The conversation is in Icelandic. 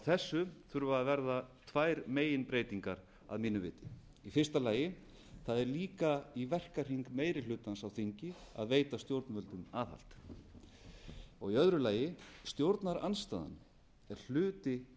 þessu þurfa að verða tvær meginbreytingar að mínu viti í fyrsta lagi það er líka verkefni meiri hlutans á þingi að veita stjórnvöldum aðhald í öðru lagi stjórnarandstaðan er hluti